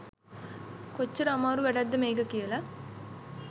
කොච්චර අමාරු වැඩක්ද මේක කියලා.